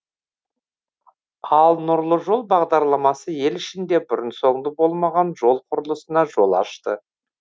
ал нұрлы жол бағдарламасы ел ішінде бұрын соңды болмаған жол құрылысына жол ашты